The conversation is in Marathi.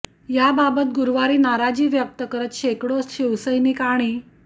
याबाबत गुरुवारी नाराजी व्यक्त करत शेकडो शिवसैनिक आणि